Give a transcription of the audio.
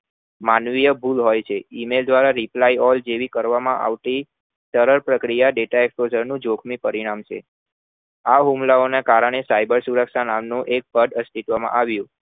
માનવીય ભૂલ હોય છે reply દ્વારા email જેવી કરવામાં આવતી સરળ પ્રક્રિયા data explossar નું જોખમી પરિણામ છે આ હુમલા ઓ ના કારણે cyber સુરક્ષા નામ નું એક પદ અસ્તિત્વ માં આવ્યું